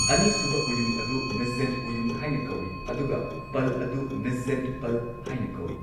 ꯑꯅꯤꯁꯨꯕ ꯎꯌꯨꯡ ꯑꯗꯨ ꯃꯤꯖꯖꯦꯟ ꯎꯌꯨꯡ ꯍꯥꯏꯅ ꯀꯧꯋꯤ ꯑꯗꯨꯒ ꯄꯜ ꯑꯗꯨ ꯃꯤꯖꯖꯦꯟ ꯄꯥꯜ ꯍꯥꯏꯅ ꯀꯧꯋꯤ꯫